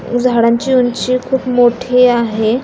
झाडांची ऊंची खुप मोठी आहे.